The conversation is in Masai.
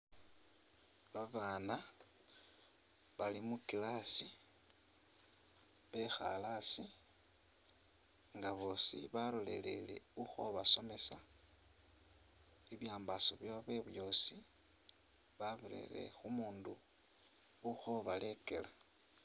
Babana Bali mu class , bekhale asii ngabosi baloleleye uli khubasomesa , ibyambaso byawe byosi babirele khu’mundu uli khubalekela .